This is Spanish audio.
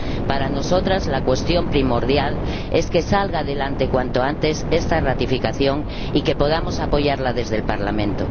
Para nosotras, la cuestión primordial es que salga adelante cuanto antes ―esta ratificación― y que podamos apoyarla desde el Parlamento.